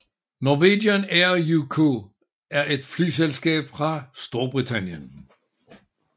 Norwegian Air UK er et flyselskab fra Storbritannien